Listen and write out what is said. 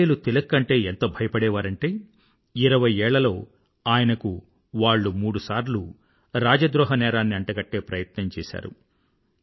ఆంగ్లేయులు తిలక్ అంటే ఎంత భయపడేవారంటే ఇరవై ఏళ్లలో ఆయనకు వాళ్ళు మూడు సార్లు రాజద్రోహ నేరాన్ని అంటగట్టే ప్రయత్నం చేశారు